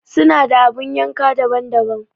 Suna da abun yanka daban-daban.